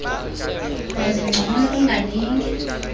wazi ngcono ungalinge